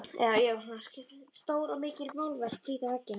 Stór og mikil málverk prýða veggina.